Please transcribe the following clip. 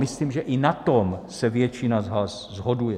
Myslím, že i na tom se většina z nás shoduje.